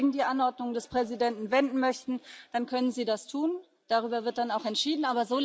Wenn Sie sich gegen die Anordnung des Präsidenten wenden möchten, dann können Sie das tun, darüber wird dann auch entschieden.